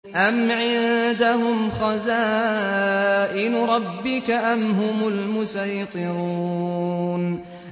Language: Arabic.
أَمْ عِندَهُمْ خَزَائِنُ رَبِّكَ أَمْ هُمُ الْمُصَيْطِرُونَ